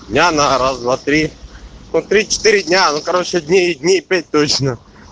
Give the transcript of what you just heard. я на раз два три по три-четыре дня ну короче дней дней пять точно